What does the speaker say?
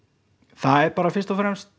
það er bara fyrst og fremst